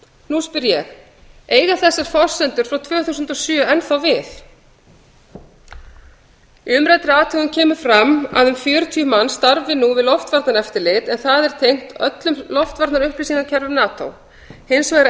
nú spyr ég eiga þessar forsendur frá tvö þúsund og sjö enn þá við í umræddri athugun kemur fram að um fjörutíu manns starfi nú við loftvarnaeftirlit en það er tengt öllum loftvarnaupplýsingakerfum nato hins vegar er